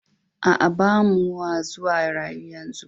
Aa, ba mua zuwa rayu yanzu.